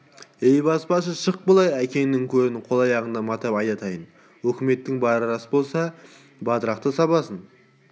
әй баспашы шық былай әкеңнің көрін қол аяғыңды матап айдатайын өкіметтің бары рас болса батырақты сабасын